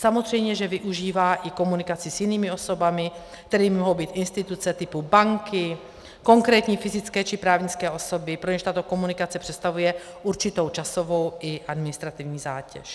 Samozřejmě že využívá i komunikaci s jinými osobami, kterými mohou být instituce typu banky, konkrétní fyzické či právnické osoby, pro něž tato komunikace představuje určitou časovou i administrativní zátěž.